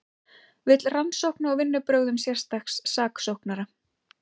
Vill rannsókn á vinnubrögðum sérstaks saksóknara